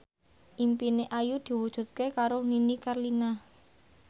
impine Ayu diwujudke karo Nini Carlina